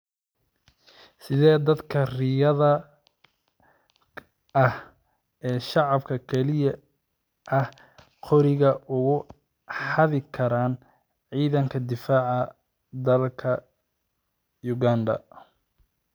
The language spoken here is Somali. Sidee dadka rayidka ah ee shicib kaliya ah qoriga uga xadi karaan Ciidanka Difaaca Dadka Uganda?